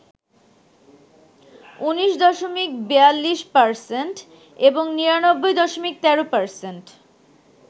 ১৯.৪২% এবং ৯৯.১৩%